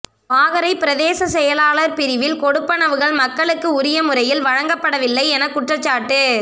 வாகரை பிரதேச செயலாளர் பிரிவில் கொடுப்பனவுகள் மக்களுக்கு உரிய முறையில் வழங்கப்படவில்லையென குற்றச்சாட்டு